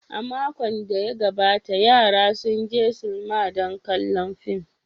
A makon da ya gabata, yaran sun je sinima don kallon fim.